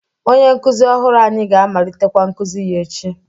Onye nkuzi ọhụrụ anyị ga-amalitekwa nkuzi ya echi.